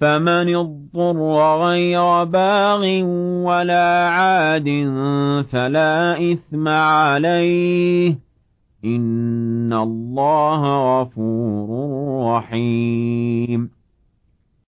فَمَنِ اضْطُرَّ غَيْرَ بَاغٍ وَلَا عَادٍ فَلَا إِثْمَ عَلَيْهِ ۚ إِنَّ اللَّهَ غَفُورٌ رَّحِيمٌ